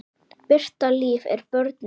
Birta Líf er börnuð.